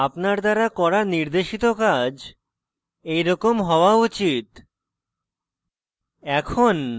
আপনার দ্বারা করা নির্দেশিত কাজ এরকম হওয়া উচিত